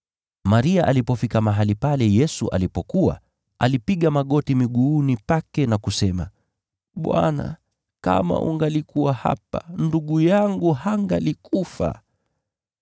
Maria alipofika mahali pale Yesu alipokuwa, alipiga magoti miguuni Pake na kusema, “Bwana, kama ungalikuwa hapa, ndugu yangu hangalikufa.”